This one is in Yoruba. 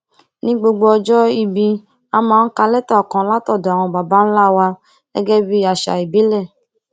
ní gbogbo ọjó ìbí a máa ń ka létà kan látọdò àwọn baba ńlá wa gégé bí àṣà ìbílè